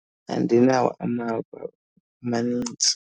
Andinawo amava amanintsi.